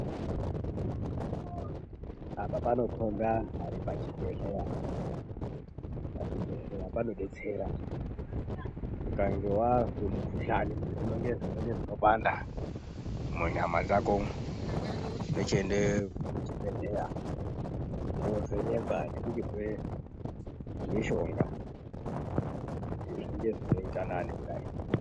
Apa panokhomba anthu ari pachibhedhleya, pachibhedhleya panodetsera ,ukange wazwe mukhuhlani, kana kuti zvinenge zvinopanda munyama dzako umwu ,tochiende kuchibhedhleya toovhenekwa nekuchipuwe mishonga kuti zvinge zvinoita nani kudai.